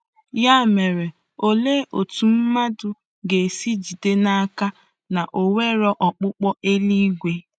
Ya mere, olee otú mmadụ ga-esi jide n'aka na o nwere ọkpụkpọ eluigwe?